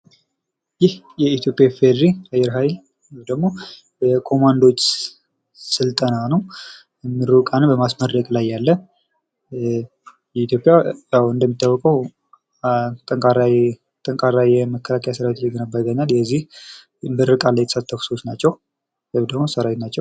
ይህ የኢትዮጵያ ኢፌድሪ አየር ኃይል ወይም ደግሞ ኮማንዶዎች ስልጠና ነዉ። ምሩቃንን በማስመረቅ ላይ ያለ። ኢትዮጵያ እንደሚታወቀዉ ጠንካራ የመከላከያ ሰራዊት እየገነባ ይገኛል። የዚህ ምርቃት ላይ የተገኙ ሰዎች ናቸዉ። ወይም ሰራዊት ናቸዉ።